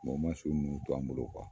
Mɛ u ma su ninnu to an bolo kuwa